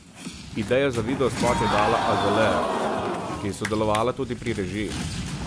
Idejo za videospot je dala Azalea, ki je sodelovala tudi pri režiji.